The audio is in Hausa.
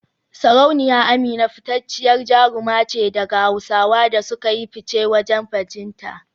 Sarauniya Amina fitacciyar jaruma ce daga Hausawa da suka yi fice wajen bajinta